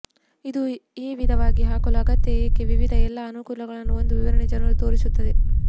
ಇದು ಈ ವಿಧವಾಗಿದೆ ಹಾಕಲು ಅಗತ್ಯ ಏಕೆ ವಿವಿಧ ಎಲ್ಲಾ ಅನುಕೂಲಗಳನ್ನು ಒಂದು ವಿವರಣೆ ಜನರು ತೋರಿಸುತ್ತದೆ